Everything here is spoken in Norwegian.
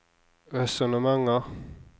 resonnementer